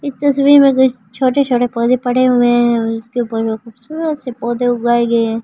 इस तस्वीर में कुछ छोटे-छोटे पौधे पड़े हुए हैं उसके ऊपर जो खूबसूरत से पौधे उगाए गए हैं।